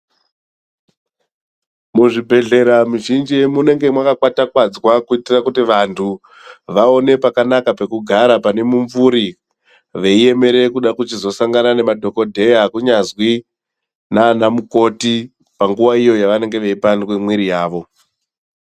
Muzvibhedhkera muzhinji munenge mwakakwatakwadzwa kuitire kuti vantu vaone pakanaka pekugara pane mumvuri veiemere kude kuchizosangane nemadhokodheya kunyazwi nana mukoti panguwa iyo yavanenge veioandwe mwiri yawo.